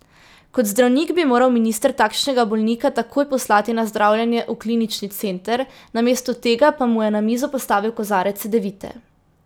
Kot zdravnik bi moral minister takšnega bolnika takoj poslati na zdravljenje v klinični center, namesto tega pa mu je na mizo postavil kozarec cedevite.